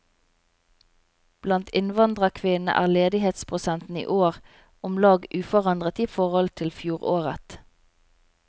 Blant innvandrerkvinnene er ledighetsprosenten i år om lag uforandret i forhold til fjoråret.